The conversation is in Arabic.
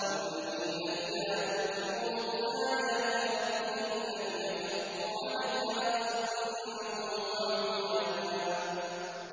وَالَّذِينَ إِذَا ذُكِّرُوا بِآيَاتِ رَبِّهِمْ لَمْ يَخِرُّوا عَلَيْهَا صُمًّا وَعُمْيَانًا